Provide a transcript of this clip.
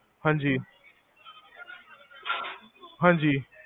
ਹਾਂਜੀ ਹਾਂਜੀ